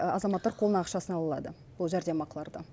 азаматтар қолына ақшасын ала алады бұл жәрдемақыларды